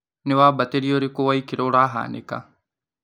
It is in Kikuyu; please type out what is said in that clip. Nĩ wambatĩria ũrĩkũ wa ikĩro ũrahanĩka?